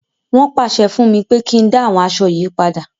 Wọ́n pàṣẹ fún mi pé kí n dá àwọn aṣọ yìí padà.